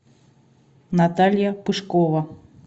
наталья пышкова